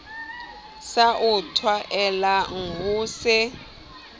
sa o tlwaelang ho se